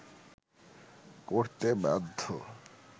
করতে বাধ্য